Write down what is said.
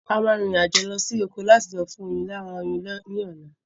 A máa rin ìrìn àjò lọ sí oko láti lọ fún oyin lára oyin ní ọ̀la